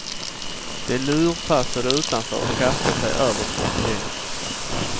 De lurpassade utanför och kastade sig över portieren.